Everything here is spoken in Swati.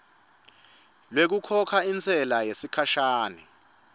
lwekukhokha intsela yesikhashana